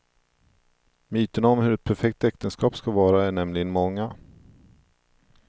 Myterna om hur ett perfekt äktenskap ska vara är nämligen många.